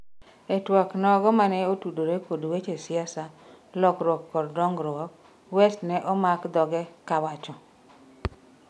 e twak nogo mane otudore kod weche siasa, lokruok kod dongruok, West ne omak dhoge kawacho